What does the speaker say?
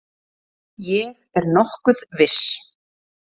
Ég er nokkuð viss.